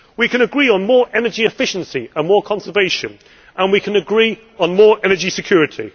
We can agree on more energy efficiency and more conservation, and we can agree on more energy security.